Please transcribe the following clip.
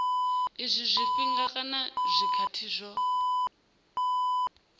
izwi zwifhinga kana zwikhathi zwo